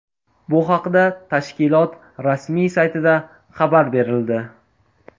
Bu haqda tashkilot rasmiy saytida xabar berildi .